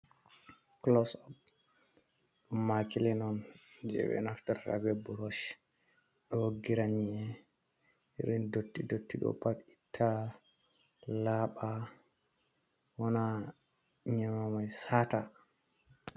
Klos op, ɗum makilin on je ɓe naftar be burosh ɓe woggira nyi'e irin dotti dotti ɗo pat itta laɓa wana nyi'emamai sata.